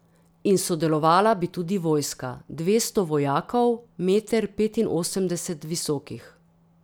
In sodelovala bi tudi vojska: 'Dvesto vojakov, meter petinosemdeset visokih.